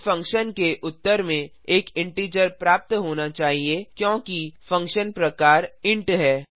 इस फंक्शन के उत्तर में एक इंटीजर प्राप्त होना चाहिए क्योंकि फंक्शन प्रकार इंट है